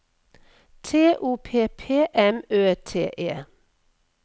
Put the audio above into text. T O P P M Ø T E